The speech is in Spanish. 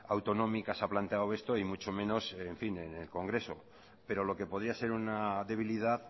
autonómica se ha planteado esto y mucho menos en el congreso pero lo que podía ser una debilidad